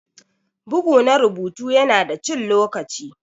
Bugu na rubutu yana da cin lokaci.